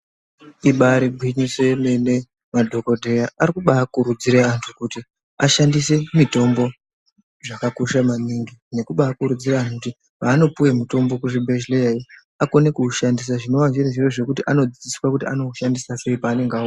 Ibari gwinyiso yemene madhokodheya ari kubaakurudzire antu kuti ashandise mutombo Zvakakosha maningi nekubaa kuridzira antu kuti paanopuwe mutombo kuzvibhedhleya iyo akone kuushandisa zvinova zviri zviro zvekuti anodzidziswa kuti anoushandisa sei paaenenga a.